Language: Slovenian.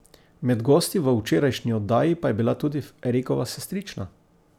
Med gosti v včerajšnji oddaji pa je bila tudi Erikova sestrična.